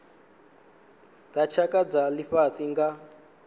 dza tshaka dza lifhasi nga